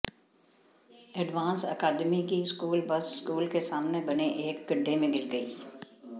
advance academy की school bus school के सामने बने एक गड्ढे में गिर गई